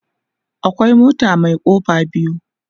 akwai mota Mai kofa biyu